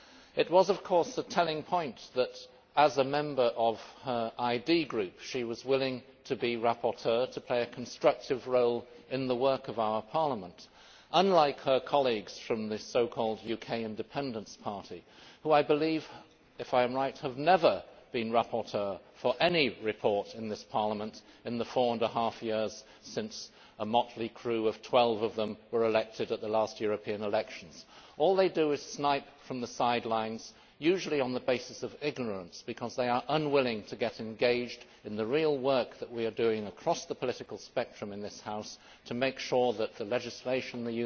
It was a telling point that as a member of her IND DEM Group she was willing to be rapporteur to play a constructive role in the work of our Parliament, unlike her colleagues from the so called UK Independence Party, who, I believe if I am right have never been rapporteurs for any report in this Parliament in the four and a half years since a motley crew of 12 of them were elected at the last European elections. All they do is snipe from the sidelines, usually on the basis of ignorance, because they are unwilling to get engaged in the real work that we are doing across the political spectrum in this House to ensure that the legislation and